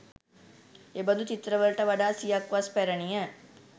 එබඳු චිත්‍රවලට වඩා සියක් වස් පැරණිය.